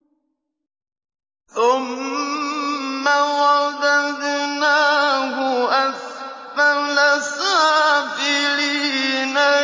ثُمَّ رَدَدْنَاهُ أَسْفَلَ سَافِلِينَ